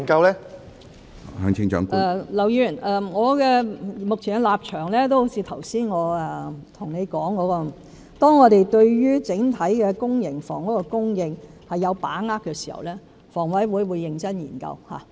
劉議員，正如我剛才對你所說，我目前的立場是，當我們對於整體公營房屋的供應有把握時，房委會會認真研究。